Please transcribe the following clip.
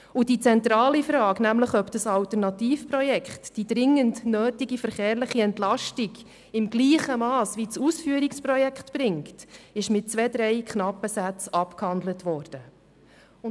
Und die zentrale Frage, ob das Alternativprojekt die dringend nötige verkehrliche Entlastung im gleichen Mass wie das Ausführungsprojekt bringt, ist mit zwei, drei knappen Sätzen abgehandelt worden.